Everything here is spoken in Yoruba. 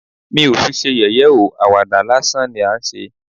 Mi ò fi ṣe yẹ̀yẹ́ ó, àwàdà lásán ni à ń ṣe